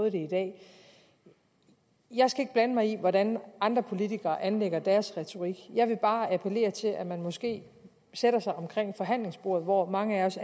i dag jeg skal ikke blande mig i hvordan andre politikere anlægger deres retorik jeg vil bare appellere til at man sætter sig omkring forhandlingsbordet hvor mange af os